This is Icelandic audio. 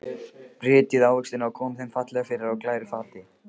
Brytjið ávextina og komið þeim fallega fyrir á glæru fati.